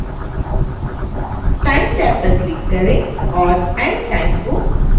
time tab पर click करें और end time को बदलकर 70 करें